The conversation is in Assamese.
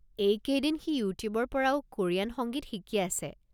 এই কেইদিন সি ইউটিউবৰ পৰাও কোৰিয়ান সংগীত শিকি আছে।